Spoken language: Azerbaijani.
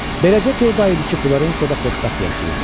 Beləcə dörd ay idi ki, Florensiyada xoşbəxt yaşayırdım.